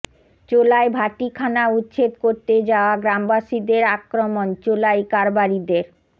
চোলাই ভাটিখানা উচ্ছেদ করতে যাওয়া গ্রামবাসীদের আক্রমণ চোলাই কারবারীদের